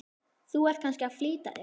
Þú ert kannski að flýta þér.